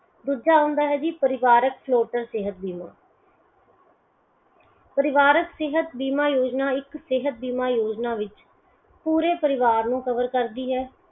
ਦੂਜਾ ਹੁੰਦਾ ਹੈ ਜੀ ਪਰਿਵਾਰੀਕ floater ਸੇਹਤ ਬੀਮਾ ਪਰਿਵਾਰਕ ਸੇਹਤ ਬਿਨਾ ਯੋਜਨਾ ਇੱਕ ਸੇਹਤ ਬੀਮਾ ਯੋਜਨਾ ਵਿੱਚ ਪੂਰੇ ਪਰਿਵਾਰ ਨੂੰ cover ਕਰਦੀ ਹੈ